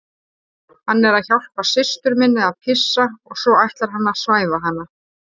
Hann er að hjálpa systur minni að pissa og svo ætlar hann að svæfa hana